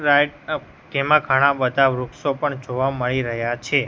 તેમા ઘણા બધા વૃક્ષો પણ જોવા મળી રહ્યા છે.